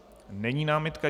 Není námitka.